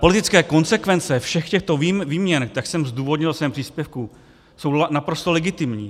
Politické konsekvence všech těchto výměn, jak jsem zdůvodnil ve svém příspěvku, jsou naprosto legitimní.